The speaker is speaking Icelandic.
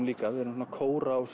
líka við erum svona kóra og